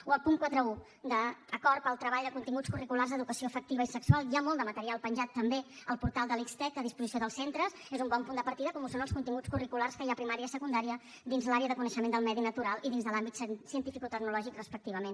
o el punt quaranta un d’acord per al treball de continguts curriculars d’educació afectiva i sexual hi ha molt de material penjat també al portal de la xtec a disposició dels centres és un bon punt de partida com ho són els continguts curriculars que hi ha a primària i a secundària dins l’àrea de coneixement del medi natural i dins de l’àmbit cientificotecnològic respectivament